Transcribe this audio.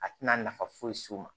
A tɛna nafa foyi s'u ma